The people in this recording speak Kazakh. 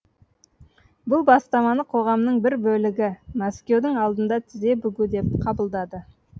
бұл бастаманы қоғамның бір бөлігі мәскеудің алдында тізе бүгу деп қабылдады